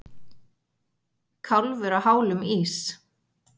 Kálfur á hálum ís